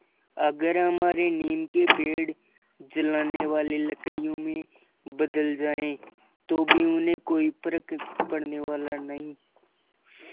अगर हमारे नीम के पेड़ जलाने वाली लकड़ियों में बदल जाएँ तो भी उन्हें कोई फ़र्क पड़ने वाला नहीं